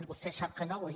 vostè sap que no ho és